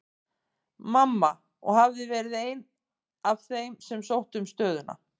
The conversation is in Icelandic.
Mamma, og hafði verið einn af þeim sem sóttu um stöðuna.